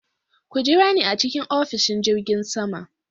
Ku jira ni a cikin ofishin jirgin sama.